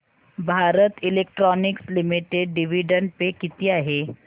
Bharat electronics limited dividend pay किती आहे